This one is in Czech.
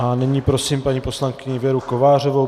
A nyní prosím paní poslankyni Věru Kovářovou.